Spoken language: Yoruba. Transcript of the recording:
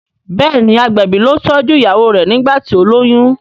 béèni agbẹbi ló tọjú ìyàwó rẹ nigbati o loyún.